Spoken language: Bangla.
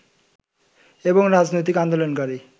এবং রাজনৈতিক আন্দোলনকারী